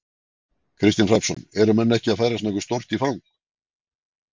Kristinn Hrafnsson: Eru menn ekki að færast nokkuð stórt í, í fang?